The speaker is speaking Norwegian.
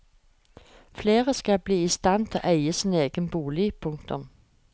Flere skal bli i stand til å eie sin egen bolig. punktum